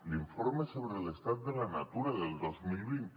l’informe sobre l’estat de la natura del dos mil vint